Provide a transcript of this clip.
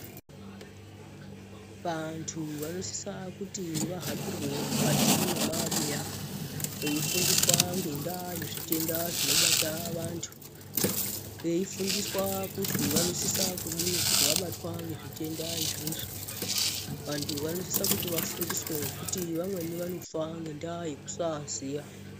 Vantu vanosisa kuti vahambirwe mukati mwemabuya, veifundiswa ngendaa yezvitenda zvinobata vantu, veifundiswa kuzwi vanosisa kudini kuti vabatwa ngezvitenda izvozvo? Vantu vanosisa kuti vafundiswe ngekuti vamweni vanofa ngendaa yekusaaziya.